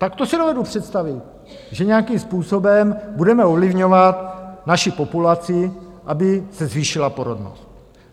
Tak to si dovedu představit, že nějakým způsobem budeme ovlivňovat naši populaci, aby se zvýšila porodnost.